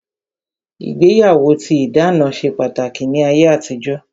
Ìgbéyàwó tí ìdáná ṣe pàtàkì ní ayé àtijó